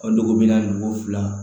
O dogo bi naani ni ko fila